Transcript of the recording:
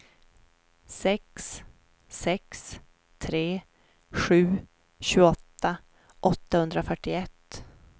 sex sex tre sju tjugoåtta åttahundrafyrtioett